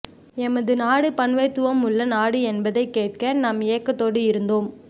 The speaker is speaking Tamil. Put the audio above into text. எமது நாடு பன்மைத்துவமுள்ள நாடு என்பதைக் கேட்க நாம் ஏக்கத்தோடு இருந்தோம்